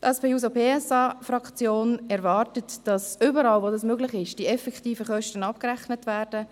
Die SP-JUSO-PSA-Fraktion erwartet: Wo möglich, sollen die effektiven Kosten abgerechnet werden.